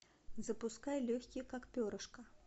запускай легкий как перышко